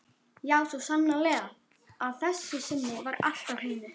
Já, svo sannarlega: að þessu sinni var allt á hreinu.